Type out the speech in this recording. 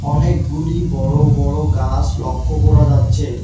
অনেকগুলি বড় বড় গাছ লক্ষ্য করা যাচ্ছে।